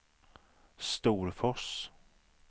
Storfors